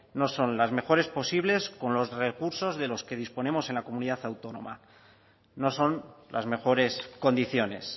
no son las mejores posibles con los recursos de los que disponemos en la comunidad autónoma no son las mejores condiciones